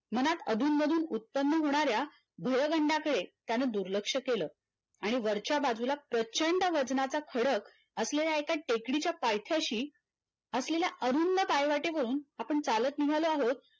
मनात अधूनमधून उत्पन्न होणाऱ्या धुळगंडाकडे त्याने दुर्लक्ष केलं आणि वरच्या बाजूला प्रचंड वजनाचा खडक असलेल्या एका टेकडीच्या पायथ्याशी असलेला अरुंद पायवाटेवरून आपण चालत निघालो आहोत